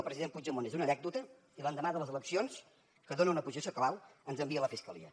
el president puigdemont és una anècdota i l’endemà de les eleccions que dona una posició clau ens envia la fiscalia